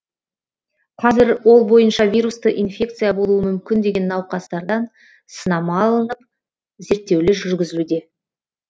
қазір ол бойынша вирусты инфекция болуы мүмкін деген науқастардан сынама алынып зерттеулер жүргізілуде